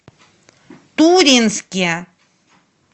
туринске